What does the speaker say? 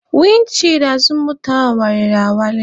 Windi chịịdi azụ moto a wariri awali.